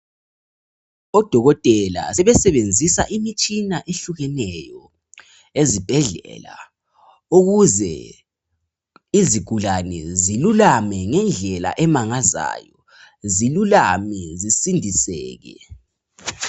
Odokotela sebesebenzisa imitshina ehlukeneyo ezibhedlela ukuze izigulane zilulame ngendlela emangazayo zilulame zisindiseke.